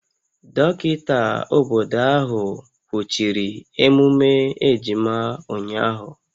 Dọkịta obodo ahụ kwụchiri emume ejima ụnyahụ